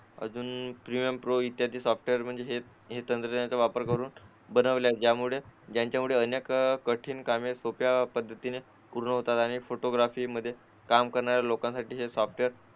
अजून PM pro ही soft इत्यादी सॉफ्टवेअर म्हणजे त्यांचा वापर करून बनवले त्यामुळे त्यांच्यामुळे अनेक कठीण कामे सोप्या पद्धतीने पूर्ण होतात आणि फोटोग्राफीमध्ये काम करणाऱ्या लोकांसाठी हे सॉफ्टवेअर